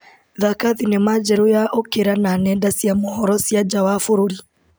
Thaka thinema njerũ ya ũkĩra na nenda cia mohoro cia nja wa bũrũri.